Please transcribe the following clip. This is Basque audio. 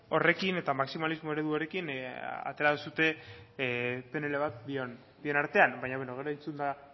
horrekin eta maximalismo eredu horrekin atera duzue pnl bat bien artean baina beno gero entzunda